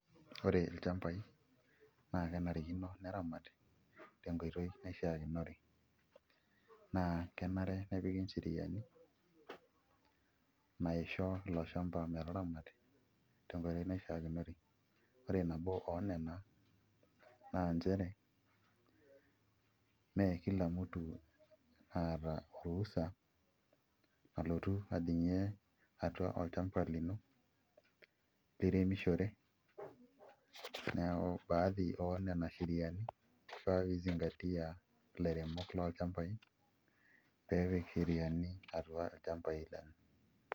Ore ilchambai naa kenarikino neramati tenkoitoi naishiakinore naa kenare nepiki ncheriani naisho ilo shamba metaramati tenkoitoi naishiakinore Ore nabo oonena naa nchere mee kila mtu oota orusa olotu ajing'ie atua olchamba lino liremishore neeku baadhi oo nena sheriani ifaa pee izingatia ilairemok lolchambai pee epik sheriani atua ilchambai lenye.